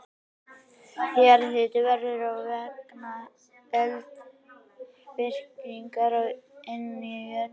Jarðhitinn verður til vegna eldvirkninnar inni í jörðinni.